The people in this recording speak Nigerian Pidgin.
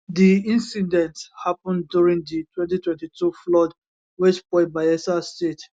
di incident happen during di 2022 flood wey spoil bayelsa state